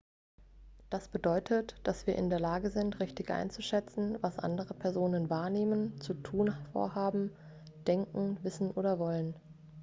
das bedeutet dass wir in der lage sind richtig einzuschätzen was andere personen wahrnehmen zu tun vorhaben denken wissen oder wollen